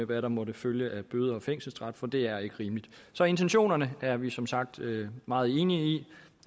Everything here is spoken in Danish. hvad der måtte følge af bøder og fængselsstraffe for det er ikke rimeligt så intentionerne er vi som sagt meget enige i